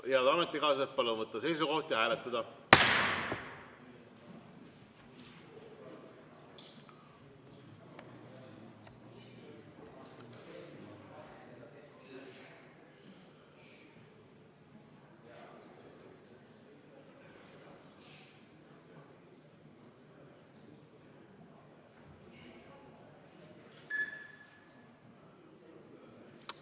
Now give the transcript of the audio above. Head ametikaaslased, palun võtta seisukoht ja hääletada!